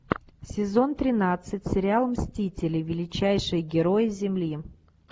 сезон тринадцать сериал мстители величайшие герои земли